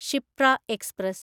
Shiphrah express